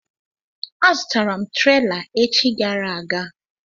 Azụrụ m trela echi gara aga.